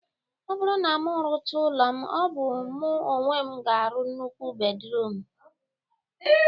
Ọ bụrụ na mụ rụcha ụlọ m, ọ bụ mụ onwe m ga-arụ nnukwu bedruum?